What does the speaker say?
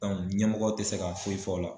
ɲɛmɔgɔw te se ka foyi fɔ o la.